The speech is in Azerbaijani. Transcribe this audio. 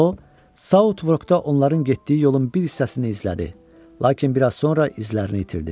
O Southwork-da onların getdiyi yolun bir hissəsini izlədi, lakin biraz sonra izlərini itirdi.